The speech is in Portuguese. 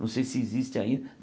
Não sei se existe ainda.